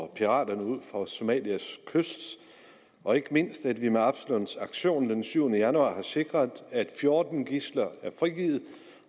piraterne ud for somalias kyst og ikke mindst at vi med absalon s aktion den syvende januar har sikret at fjorten gidsler er blevet frigivet